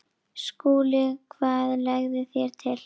SKÚLI: Hvað leggið þér til?